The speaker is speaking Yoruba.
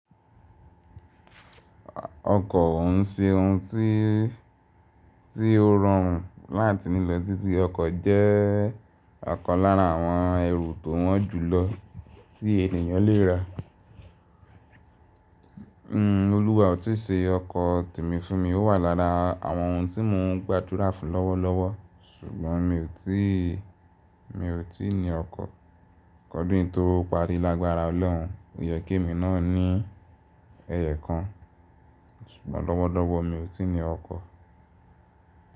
Ọkọ̀ ò ń ṣe ohun tí, tí ó rọrùn láti nílọ̀ títí ọkọ̀ jẹ́ ọ̀kan lára àwọn ẹrù tó wọ́n jù lọ tí ènìyàn lè ra. Olúwa ò tí ì ṣe ọkọ̀ tèmi fún mi, ó wà lára àwọn ohun tí mò ń gbàdúrà fún lọ́wọ́lọ́wọ́ sùgbọ́n mi ò tí, mi ò tí ní ọkọ̀. Ki ódun yí to parí lágbára Ọlọ́run, ó yẹ kí èmi náà ní ẹyo kan. Ṣùgbọ́n lọ́wọ́lọ́wọ́ mi ò tí ní ọkọ̀